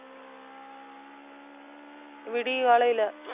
விடி காலையில.